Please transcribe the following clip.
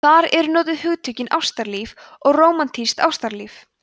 þar eru notuð hugtökin ástalíf og rómantískt ástalíf